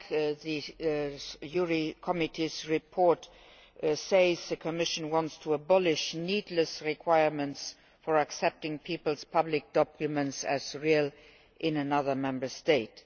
as the JURI Committee's report says, the Commission wants to abolish needless requirements for accepting peoples' public documents as real in another Member State.